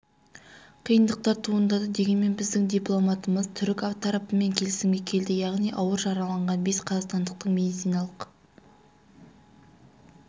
қиындықтар туындады дегенмен біздің дипломатымыз түрік тарапымен келісімге келді яғни ауыр жараланған бес қазақстандықтың медициналық